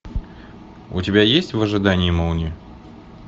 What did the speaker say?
у тебя есть в ожидании молнии